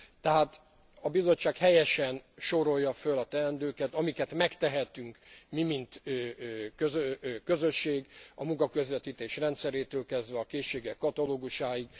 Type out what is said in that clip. Tehát a Bizottság helyesen sorolja föl a teendőket amiket megtehetünk mi, mint Közösség a munkaközvetítés rendszerétől kezdve a készségek katalógusáig.